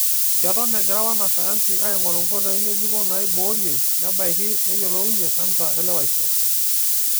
Keton egira wanasayansi aing'oru nkoitoi ng'ejuko naiboorie, nebakie, neyiolounye kansa elewaisho.